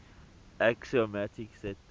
axiomatic set theory